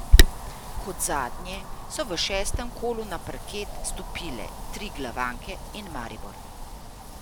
Kot zadnje so v šestem kolu na parket stopile triglavanke in Maribor.